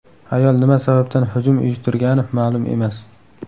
Ayol nima sababdan hujum uyushtirgani ma’lum emas.